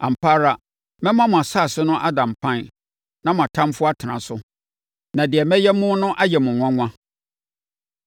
Ampa ara, mɛma mo asase so ada mpan na mo atamfoɔ atena so, na deɛ mɛyɛ mo no ayɛ mo nwanwa.